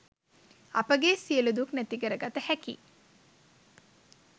අපගේ සියලු දුක් නැතිකරගත හැකියි.